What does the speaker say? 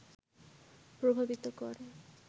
প্রভাবিত করে